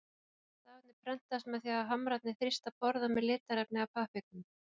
stafirnir prentast með því að hamrarnir þrýsta borða með litarefni að pappírnum